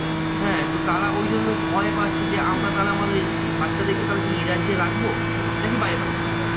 হ্যাঁ তো তারা ওই জন্য ভয় পাচ্ছে যে আমরা তাহলে আমাদের বাচ্চাদেরকে তাহলে কি এ রাজ্যে রাখবো? নাকি বাইরে পাঠিয়ে দেব?